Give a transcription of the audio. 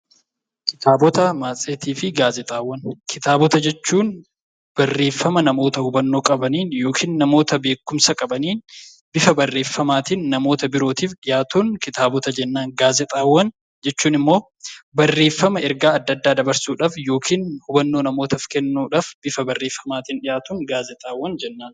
Kitaabota, matseetii fi gaazeexaawwan Kitaabota jechuun barreeffama namoota hubannoo qabaniin (namoota beekumsa qabaniin) bifa barreeffamaatiin namoota birootiif dhiyaatuuf kitaabota jennaan. Gaazeexaawwan jechuun immoo barreeffama ergaa adda addaa dabarsuudhaaf yookiin hubannoo namootaaf kennuudhaaf bifa barreeffamaatiin dhiyaatuuf gaazeexaawwan jenna.